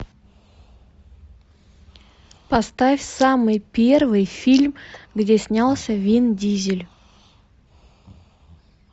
поставь самый первый фильм где снялся вин дизель